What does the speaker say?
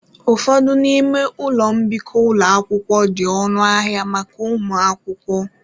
Ụfọdụ n'ime ụlọ mbikọ ụlọ akwụkwọ di ọnụ ahịa maka ụmụ akwụkwọ.